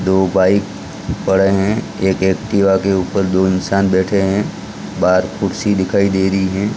दो बाइक पड़े हैं एक एक्टिवा के ऊपर दो इंसान बैठे हैं बाहर कुर्सी दिखाई दे रही है।